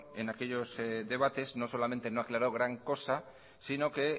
en aquellos debates no solamente no ha aclarado gran cosa sino que